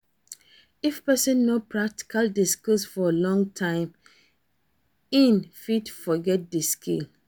If persin no practice di skill for long time in fit forget di skill